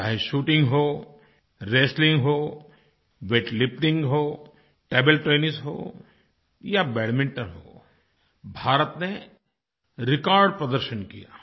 चाहे शूटिंग हो रेस्टलिंग हो वेटलिफ्टिंग हो टेबल टेनिस हो या बैडमिंटन हो भारत ने रेकॉर्ड प्रदर्शन किया